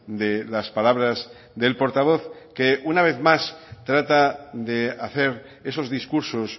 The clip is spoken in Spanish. de las palabras del portavoz que una vez más trata de hacer esos discursos